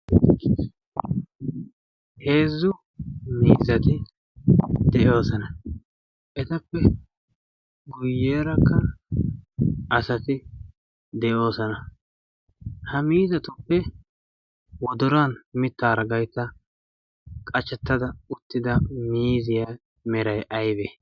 heezzu miizati de7oosana etappe guyyerakkan asati de7oosana ha miizatuppe woduran mittaara gaitta qahchattada uttida miziyaa merai aibee.